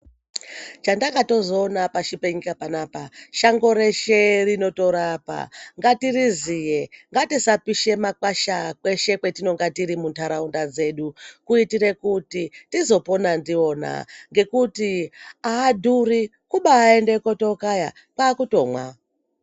Chandakatozoona pashi penyika panapa shango reshe rinotorapa ngatiriziye. Ngatisapishe makwasha kweshe kwetinonga tiri muntaraunda dzedu kuitire kuti tizopona ndiwona ngekuti ahadhuri kubaaende kutookaya, kwaakutomwa.